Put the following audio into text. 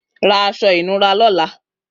Rà aṣọ inùrá lọ̀lá